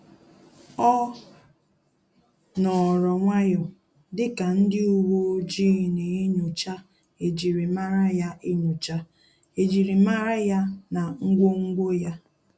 O nọrọ nwayọọ dịka ndị uwe ojii na enyocha ejimara ya enyocha ejimara ya na ngwongwo ya